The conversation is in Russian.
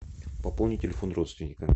пополни телефон родственника